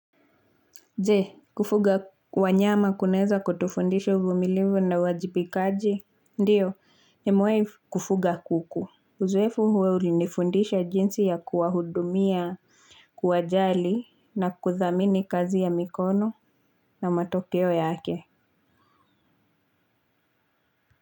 Je, kufuga wanyama kunaeza kutufundisha uvumilivu na uwajibikaji. Ndiyo, nimewai kufuga kuku. Uzoefu huo ulifundisha jinsi ya kuwahudumia kuwajali na kuthamini kazi ya mikono na matokeo yake.